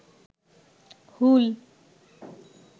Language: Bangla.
হুল